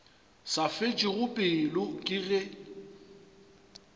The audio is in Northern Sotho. sa fetšego pelo ke ge